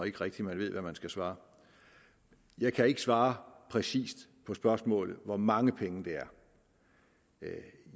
ikke rigtig ved hvad man skal svare jeg kan ikke svare præcis på spørgsmålet hvor mange penge det er